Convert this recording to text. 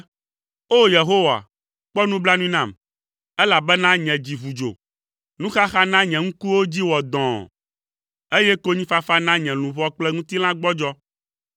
O! Yehowa, kpɔ nublanui nam, elabena nye dzi ʋu dzo, nuxaxa na nye ŋkuwo dzi wɔ dɔ̃ɔ, eye konyifafa na nye luʋɔ kple ŋutilã gbɔdzɔ.